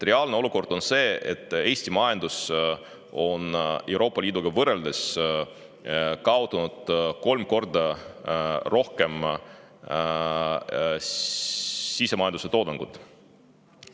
Reaalne olukord on see, et Eesti majandus on Euroopa Liiduga võrreldes kaotanud kolm korda rohkem sisemajanduse toodangust.